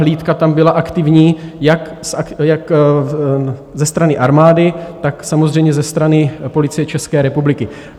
Hlídka tam byla aktivní jak ze strany armády, tak samozřejmě ze strany Policie České republiky.